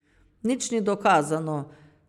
Nič ni dokazano.